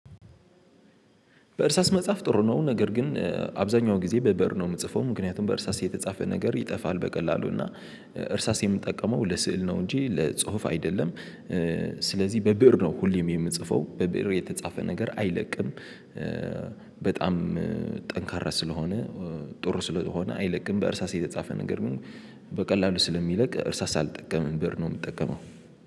በእርሳስ መጽሐፍ ጥሩ ነው ነገር ግን አብዛኛው ጊዜ በበር ነው የምጽፈው ምክንያቱም በእርሳስ የተጻፈ ነገር ይጠፋል በቀላሉ እና እርሳስ የምጠቀመው ለስዕል ነው እንጂ ለጽሁፍ አይደለም። ስለዚህ በብእር ነው ሁሌም የምጽፈው በብእር የተጻፈ ነገር አይለቅም። በጣም ጠንካራ ስለሆነ ጥሩ ስለሆነ አይለቅም። በእርሳስ የተጻፈ ነገር ግን በቀላሉ ስለሚለቅ እርሳስ አልጠቀምም ብር ነው የምጠቀመው